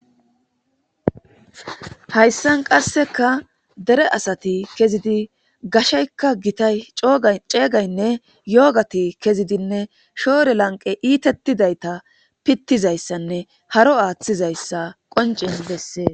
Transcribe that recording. hayssan qasseka dere asati kezidi gasheykka gitay ceegaynne yoogati kezidinne shoore lanqe iitettidayta pittizayssanne haro aaththizayssa qonces dessee